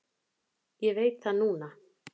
Ég veit það núna.